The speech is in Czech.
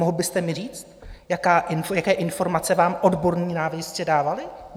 Mohl byste mi říct, jaké informace vám odborní náměstci dávali?